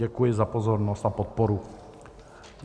Děkuji za pozornost a podporu.